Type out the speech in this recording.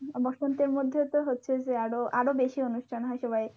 বসন্তের মধ্যে তো হচ্ছে যে আরো আরো বেশি অনুষ্ঠান হয় সবাই,